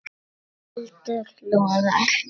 Eldur logar.